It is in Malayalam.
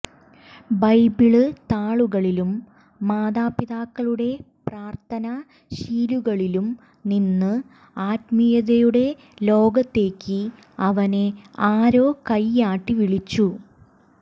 െബെബിള് താളുകളിലും മാതാപിതാക്കളുടെ പ്രാര്ഥനാ ശീലുകളിലുംനിന്ന് ആത്മീയതയുടെ ലോകത്തേക്ക് അവനെ ആരോ െകെയാട്ടി വിളിച്ചു